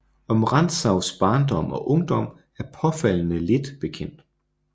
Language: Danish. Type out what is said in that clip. Om Rantzaus barndom og ungdom er påfaldende lidt bekendt